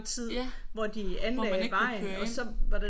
Ja hvor man ikke kunne køre ind